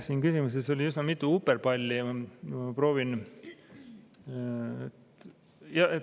Siin küsimuses oli üsna mitu uperpalli.